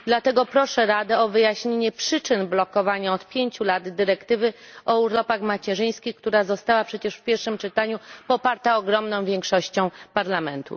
Dlatego proszę Radę o wyjaśnienie przyczyn blokowania od pięciu lat dyrektywy o urlopach macierzyńskich, która została przecież w pierwszym czytaniu poparta ogromną większością Parlamentu.